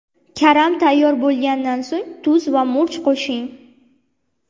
Karam tayyor bo‘lgandan so‘ng tuz va murch qo‘shing.